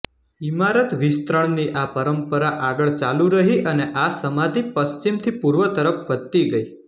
ઈમારત વિસ્તરણની આ પરંપરા આગળ ચાલુ રહી અને આ સમાધિ પશ્ચિમથી પૂર્વ તરફ વધતી ગઈ